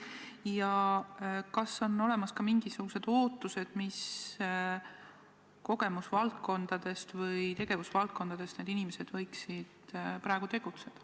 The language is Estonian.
Ja kas on olemas ka mingisugused ootused, mis kogemusvaldkondadest või tegevusvaldkondadest need inimesed võiksid tulla?